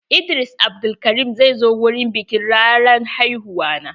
Idris Abdulkarim zai zo wurin biƙin ranar haihuwa na.